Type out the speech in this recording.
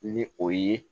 Ni o ye